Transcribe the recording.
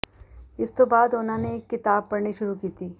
ਇਸ ਤੋਂ ਬਾਅਦ ਉਨ੍ਹਾਂ ਨੇ ਇੱਕ ਕਿਤਾਬ ਪੜ੍ਹਨੀ ਸ਼ੁਰੂ ਕੀਤੀ